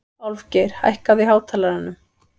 Álfgeir, hækkaðu í hátalaranum.